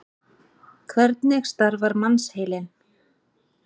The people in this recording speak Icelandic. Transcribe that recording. Hvernig starfar mannsheilinn?